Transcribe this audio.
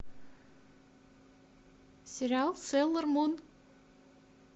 сериал сейлор мун